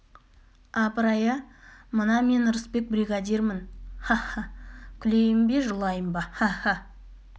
апырай ә мына мен ырысбек бригадирмін ха-ха-ха күлейін бе жылайын ба ха-ха-ха